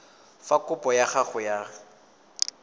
fa kopo ya gago ya